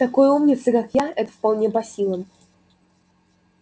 такой умнице как я это вполне по силам